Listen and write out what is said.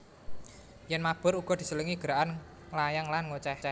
Yèn mabur uga diselingi gerakan nglayang lan ngocéh